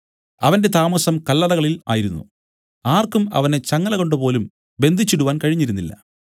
അവന്റെ താമസം കല്ലറകളിൽ ആയിരുന്നു ആർക്കും അവനെ ചങ്ങലകൊണ്ടുപോലും ബന്ധിച്ചിടുവാൻ കഴിഞ്ഞിരുന്നില്ല